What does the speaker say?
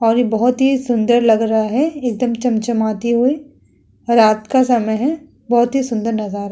और यह बोहोत ही सुन्दर लग रहा है। एक दम चमचमाती हुई रात का समय है। बोहोत ही सुन्दर नाज़ार है।